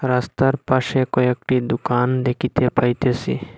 রাস্তার পাশে কয়েকটি দুকান দেখিতে পাইতেসি।